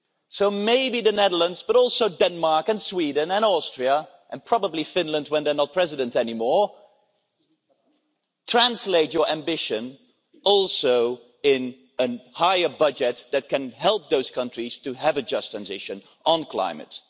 So maybe the Netherlands, but also Denmark and Sweden and Austria, and probably Finland when they're not President anymore, translate your ambition also into a higher budget that can help those countries to have a just transition on climate.